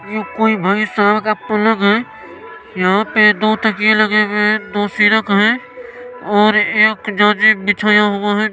ये कोई भाई साहब का पलंग है यहाँ पे दो तकिए लगे हुए है दो सिरक है और एक जाजिम बिछाया हुआ है।